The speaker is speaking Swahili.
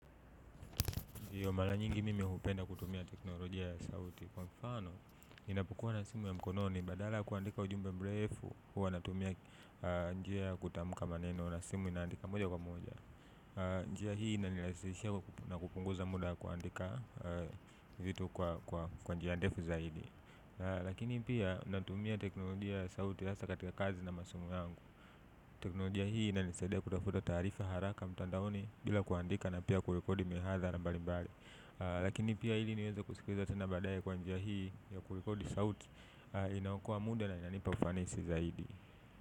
Ndiyo, mara nyingi mimu hupenda kutumia teknolojia ya sauti. Kwa mfano, ninapokuwa na simu ya mkononi badala ya kuandika ujumbe mrefu, huwa natumia njia ya kutamka maneno na simu inaandika moja kwa moja. Njia hii inanirahisishia na kupunguza muda wa kuandika vitu kwa njia ndefu zaidi. Lakini pia, natumia teknolojia ya sauti hasa katika kazi na masomo yangu. Teknolojia hii inanisaidia kutafuta taarifa haraka mtandaoni bila kuandika na pia kurekodi mihadhara mbalimbali. Lakini pia ili niweze kusikiliza tena baadaye kwa njia hii ya kurekodi sauti inayookoa muda na inanipa ufanisi zaidi.